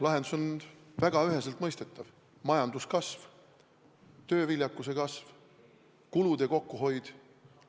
Lahendus on väga üheselt mõistetav: majanduskasv, tööviljakuse kasv, kulude kokkuhoid.